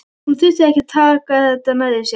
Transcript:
Hún þurfi ekki að taka þetta nærri sér.